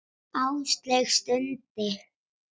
Áslaug stundi.